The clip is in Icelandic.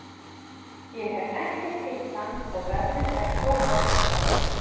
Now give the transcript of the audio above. Ég hef ekkert hitt hann og veðrið er svo gott í dag.